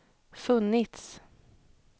funnits